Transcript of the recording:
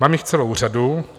Mám jich celou řadu.